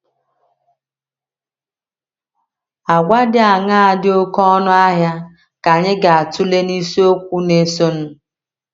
Àgwà dị aṅaa dị oké ọnụ ahịa ka anyị ga - atụle n’isiokwu na - esonụ?